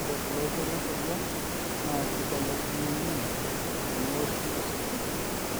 ore oloito lenkoriong naa keibelekenya ninye teneoshi ositima